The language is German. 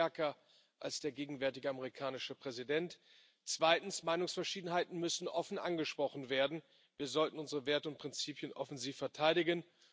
Sie sind stärker als der gegenwärtige amerikanische Präsident. Zweitens Meinungsverschiedenheiten müssen offen angesprochen werden. Wir sollten unsere Werte und Prinzipien offensiv verteidigen.